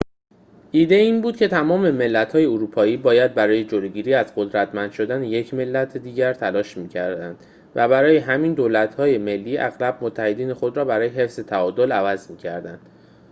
ایده این بود که تمام ملت‌های اروپایی باید برای جلوگیری از قدرتمند شدن یک ملت دیگر تلاش می‌کردند و برای همین دولت‌های ملی اغلب متحدین خود را برای حفظ تعادل عوض می‌کردند